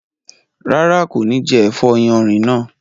Rárá, kò ní jẹ ẹ̀fọ́ yánrin náà